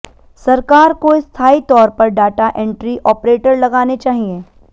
सरकार को स्थायी तौर पर डाटा एंट्री आपरेटर लगाने चाहिए